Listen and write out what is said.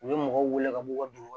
U bɛ mɔgɔw wele ka bɔ u ka dugu